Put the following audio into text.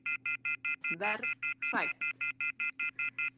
Verð hrædd.